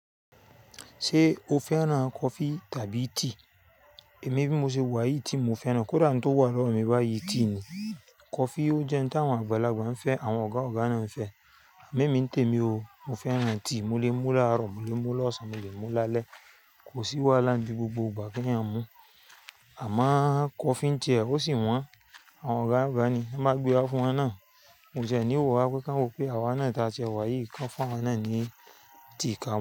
Ṣé o fẹ́ran kọfí tàbí tea? Èmi bí mo ṣe wà yìí, tea mo fẹ́ran. Kódà oun to wà lọ́wọ́ mi báyìí, tea ni. Kọfí ó jẹ́ ohun tí àwọn àgbàlagbà ń fẹ́, àwọn ọ̀gá ọ̀gá náà ń fẹ́. Amo ẹ̀mí mi ń tèmi o, mo fẹ́ran tea, mo lè mú láàárọ̀, mo lè mú lọ́sàn, mo lè mú lálẹ́. Kò sí wàhalá ńdí gbogbo ìgbà pe èyan n mú. Àmọ́ kọfí ń tiẹ, ó sì wọ́n, àwọn ọ̀gá ọ̀gá ni, a máa gbé wá fún wọn náà. Won tiẹ̀ ní wọ ràra pé kán wọ pé àwa náà ta tiẹ wà yìí kan fún àwa náà ni, tea ká mú.